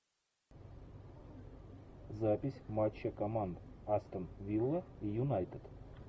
запись матча команд астон вилла и юнайтед